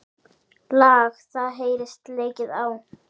Lag það heyrist leikið á.